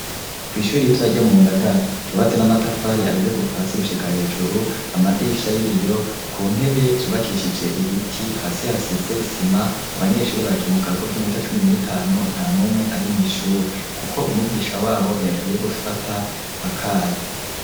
Kw'ishuri ritoya ryo mu Ngagara yubatse n'amatafari ahiye kuva hasi gushika hejuru amadirisha y'ibiyo ku ntebe yubakishije ibiti, hasi hasize isima abanyeshuri bagiye mu karuhuko k'iminota cumi n'itanu nta numwe ari mw'ishuri, kuko umwigisha wabo yagiye gufata akayi.